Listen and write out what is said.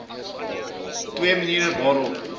twee maniere waarop